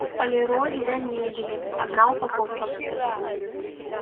полироль для мебели одна упаковка